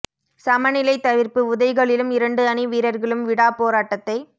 சம நிலைத் தவிர்ப்பு உதைகளிலும் இரண்டு அணி வீரர்களும் விடாப் போராட்டத்தை